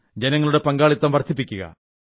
ജനങ്ങളുടെ പങ്കാളിത്തം വർധിപ്പിക്കുക